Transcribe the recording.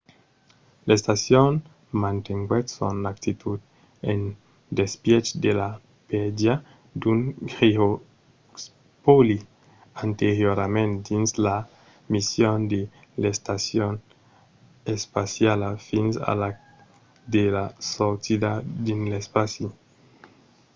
l'estacion mantenguèt son actitud en despièch de la pèrdia d'un giroscòpi anteriorament dins la mission de l'estacion espaciala fins a la fin de la sortida dins l'espaci